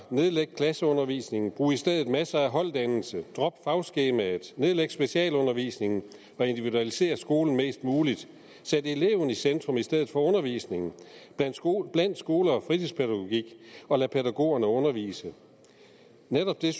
nedlæg klasseundervisningen brug i stedet masser af holddannelse drop fagskemaet nedlæg specialundervisningen og individualisér skolen mest muligt sæt eleven i centrum i stedet for undervisningen bland skole bland skole og fritidspædagogik og lad pædagogerne undervise netop det